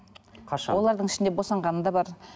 қашан олардың ішінде босанғаны да бар